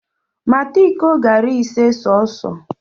Mata iko garị ise sọọsọ!